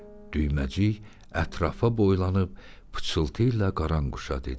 Düyməcik ətrafa boylanıb pıçıltıyla qaranquşa dedi.